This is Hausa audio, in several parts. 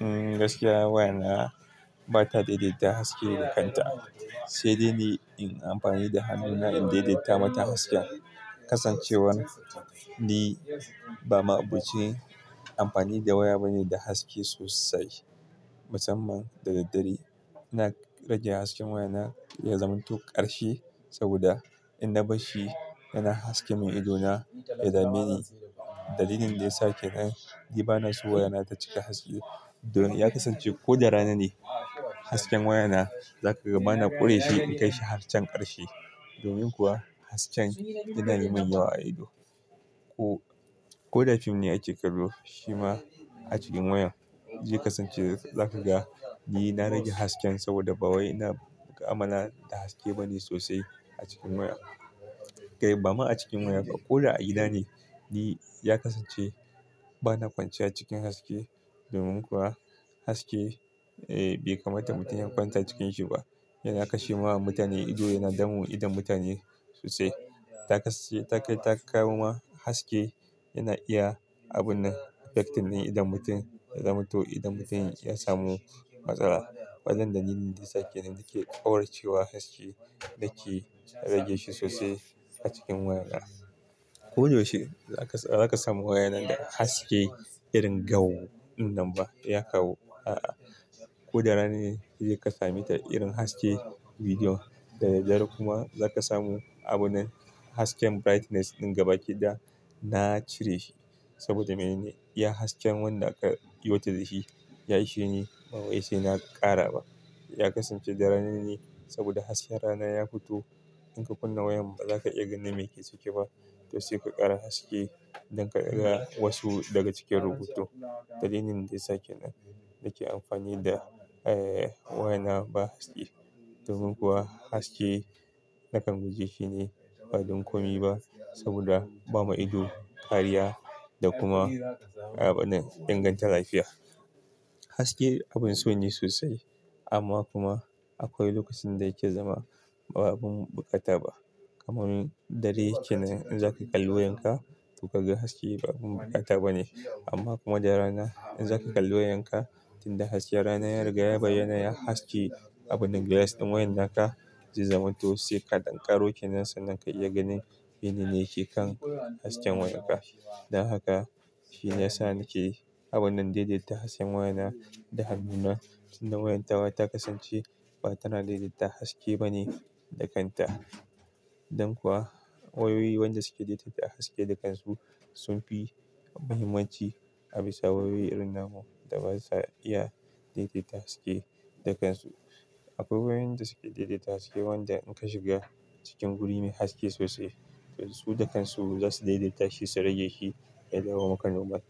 Gaskiya waya na ba ta daidaita haske da kanta, sai dai ni in amfani da hannuna in daidaita mata hasken. Kasancewar ni ba maɓuci amfani da waya bane da haske sosai, masamman da dare. Ina rage hasken waya na ya zama toh ƙarshe saboda in na bar shi, yana haske min ido na ya dame ni. Dalilin da ya sa kenan ni bana so waya na ta cika haske. Ya kasance ko da rana ne, hasken waya na za ka ga bana ƙure shi in kai shi har can ƙarshe. Domin kuwa hasken yana yi min yawa a ido. Ko da film ne ake kallo, shi ma a cikin waya, zai kasance za ka ga ni na rage hasken saboda ba wai ina amana da haske bane sosai a cikin waya. Kai ba ma a cikin waya ka, ko da a gida ni, ya kasance bana kwanciya cikin haske. Domin kuwa haske bai kamata mutum ya kwanta cikin shi ba. Yana kashe wa mutane ido, yana damu idon mutane sosai. Ta kawo ma haske yana iya abun nan affecting idon mutum ya zama to idon mutum ya samu matsala. Wannan dalilin da yasa kenan nake ƙaraucewa haske da ke rage shi sosai a cikin waya na. Ko da yaushe za ka samu waya na da haske irin gau din nan ba, ya kawo a'a. Ko da rana ne zai ka sami ta irin haske bidiyo da daddare kuma za ka samu abu ne hasken brightness ɗin gabaki ɗaya na cire shi saboda me ne? Iya hasken wanda aka iyo ta da shi, ya ishe ni. Ba wai sai na ƙara ba. Ya kasance da ranan ne saboda hasken rana ya fito. In ka kunna wayan ba za ka iya ganin me ke ciki ba. To sai ka ƙara haske don ka ga wasu daga cikin rubutu. Dalilin da yasa kenan nake amfani da waya na ba haske, domin kuwa haske nakan guje shi ne ba don komi ba saboda ba ma ido kariya da kuma abinnan, inganta lafiya. Hasake abin so ne sosai amma kuma akwai lokacin da yake zama ba abun bukata ba. Kaman dare kenan in zaka kalli wayan ka, to ka ga haske ba bukata bane. Amma kuma da rana in zaka kalli wayan ka, tunda hasken rana ya ragu ya bayyana, haske abin glass ɗin wayan naka zai zamanto sai ka ɗan ƙaro ke nan sannan ka iya ganin menene ke kan hasken wayan ka. Don haka shine yasa nake abun nan daidaita hasken waya na da hannuna, tunda wayan tawa ta kasance ba tana daidaita haske bane da kanta. Don kuwa wayoyi wanda suke daidaita haske da kansu sun fi muhimmanci a bisa wayoyi irin namu da basa iya daidaita haske da kansu. Akwai wayoyin da suke daidaita haske wanda in ka shiga cikin guri mai haske sosai, su da kansu za su daidaita shi su rage shi ya dawo maka normal.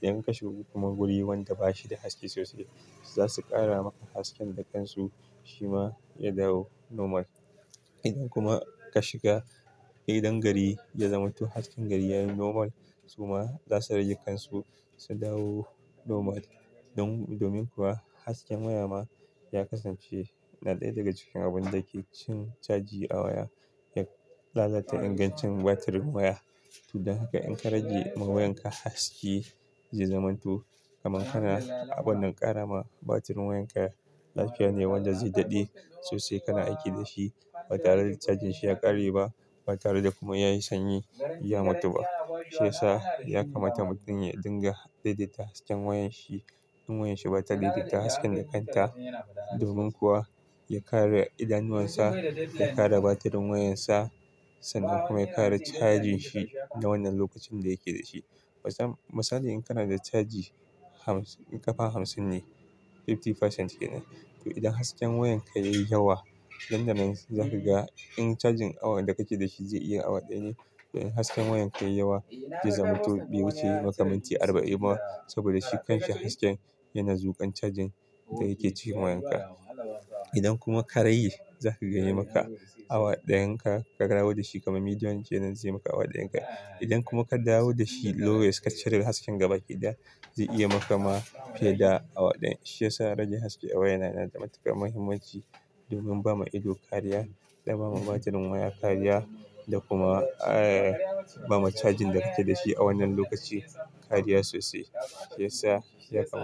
Idan ka shiga kuma guri wanda bashi da haske sosai, za su ƙara maka hasken da kansu, shi ma ya dawo normal. Idan kuma ka shiga gidan gari ya zama to hasken gari yayi normal, su ma za su rage kansu su dawo normal. Don domin kuwa hasken waya ma ya kasance na ɗaya daga cikin abun da yake cin caji a waya, ya lalata ingancin batirin waya. Don haka in ka rage ma wayan ka haske zai zama to kaman kana abun nan ƙara ma batirin wayan ka lafiya ne wanda zai daɗe sosai kana aiki da shi. Ba tare da cajin shi ya ƙare ba, ba tare da kuma ya yi sanyi ya mutu ba. Shi yasa ya kamata mutum ya dinga daidaita hasken wayan shi in wayan shi ba ta daidaita haske da kanta. Domin kuwa ya kare idanuwan sa, ya kare batirin wayan sa sannan kuma ya kare cajin shi na wannan lokacin da yake da shi. Matsala in kana da caji ƙafa hamsin ne, 50% kenan. Toh idan hasken wayan ka yayi yawa, nan da nan zaka ga in cajin awon da kake da shi zai iya awa ɗaya ne. In hasken wayan ka yayi yawa zai zaman to bai wuce yayi maka minti arba'in ba saboda shi kan shi hasken yana zuƙan cajin da yake cikin wayan ka. Idan kuma ka rage, zaka ga yayi maka awa ɗayan ka ka dawo da shi kamar medium kenan zai maka awa ɗayan ka. Idan kuma ka dawo da shi lowest ka cire hasken gaba kiɗa, zai iya maka ma fiye da awa ɗaya. Shi yasa rage haske a waya yana da matuƙar muhimmanci domin ba ma ido kariya da ba ma batirin waya kariya da kuma ba ma cajin da kake da shi a wannan lokaci kariya sosai. Shi yasa shi yasa.